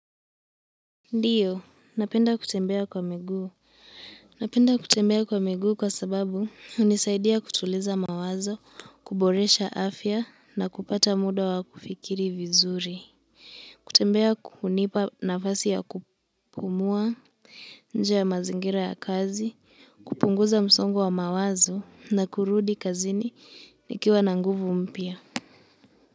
Ndiyo. Napenda kutembea kwa miguu. Napenda kutembea kwa miguu kwa sababu unisaidia kutuliza mawazo, kuboresha afya, na kupata muda wa kufikiri vizuri. Kutembea unipa nafasi ya kupumua nje ya mazingira ya kazi, kupunguza msongo wa mawazo na kurudi kazini nikiwa na nguvu mpya.